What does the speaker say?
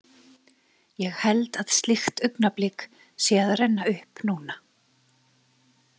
Ég held að slíkt augnablik sé að renna upp núna.